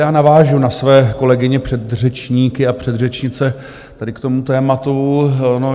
Já navážu na své kolegyně předřečníky a předřečnice tady k tomu tématu.